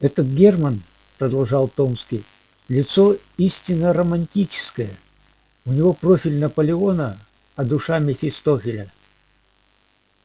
этот германн продолжал томский лицо истинно романтическое у него профиль наполеона а душа мефистофеля